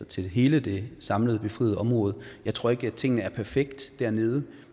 til hele det samlede befriede område jeg tror ikke at tingene er perfekte dernede